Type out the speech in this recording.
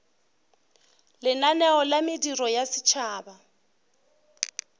lenaneo la mediro ya setšhaba